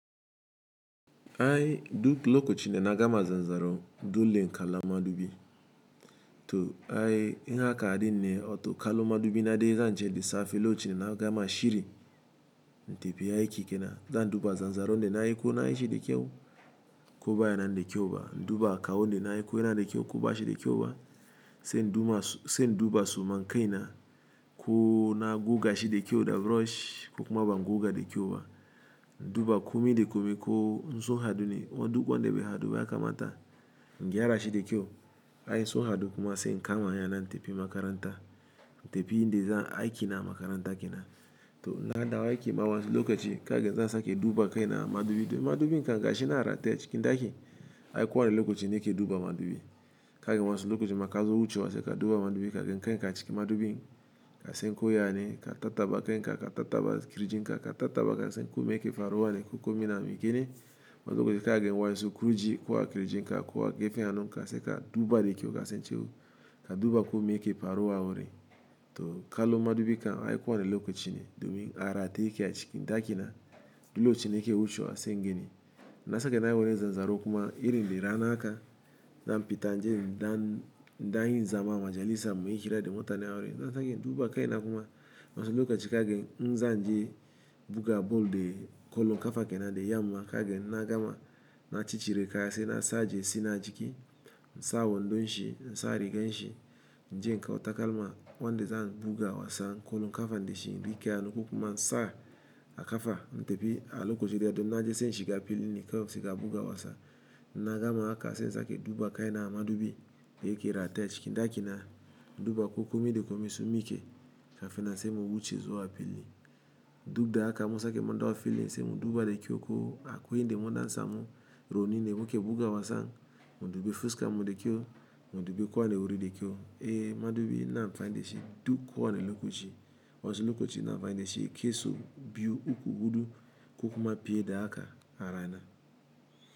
Ai duk lokochi da na gama zanzaro dole in kala madubi. To ai inaga din ne to kallon madubi na zance na ce da safe lokachi ne na gama shiri. Intafi ai ki kenan zan duba zanzaron nai ko nayi shi da kyau ko baya na de kyau ba. Nduba kawon de nayi ko yana de kyau ko ba shi da kyau sain duba su. Sa in duba so ma in kai na ko na guga shi de kyau da brush ko kuma ban guga da kyau ba. Nduba komi de komi ko inso ha ɗu ne kuma wanda be ha ɗu ba yaka mata. In gyara shi da kyau ai sun ha ɗu kuma sai ni kama hanya in tafi makaranta. In tafi inda zan aiki na amakaranta kenan. To inna dawo ai ki ma wasu lokochi kaga zan sake duba kai na amadubi. Madubi kan ga shi nan arataye chikin ɗa ki ai kowane lokochi na ke duba madubi. Kaga wasu lokochi ma kazo wucewa sai ka duba madubi kaga kan ka achikin madubi ka san ko yayane ka tattaɓa kan ka ka tattaba kirijin ka ka tatraba ka san komeke faruwa ne ko komi na mi ki ne. Wasu lokochin kaga waƴan su kurji ko a kirijin ka ko a gefen hannun ka se ka duba da kyau ka san shine. Ka duba komeyake faruwa a wurin. To kallon madubi kan ai kowane lokochi ne domin a rataye ke a chikin ɗa ki na duk lochin da nake wuchewa sai ngani. Na sake na yi wani zanzaro kuma iri da ra na haka zan fita nje in ɗan ɗan yi zama amajalisa muyi hira da muta nen wurni, ina sake duba kai na kuma wasu lokochi kaga in zan je bua ball da kollon kafa kenan da yamma kaga na gama na chichchi re kaya se na sa jesi na ajiki. In sa wondon shi in sa rigar shi na je na kawo takalma wonda za'a buga wasa kollon ƙafan da shi ri kiano ko kuma in sa akafa na tafi a lokochi da da na je sai inshi ga fili ni ka se ka buga wasa. Na gama haka se in sa ke duba kai na amadubi daya ke rataye a chikin ɗa ki na induba ko komi da komi sun min ke ka fin nan sai mu wuche zu wa fili. Dud da haka in mun sake mu dawo fili se mu duba da kyau ko a ko yan da mun ɗan sa mu rouni ne mu ke buga wasa. Mu dube fuskar mu de kyau mu dubi kowane wuri de kyau. E madubi ina amfani da shi duk kowane lokochi. Wasu lokochi ina amfani da shi ke Sau biyu uku hudu ko kuma piye da haka arana.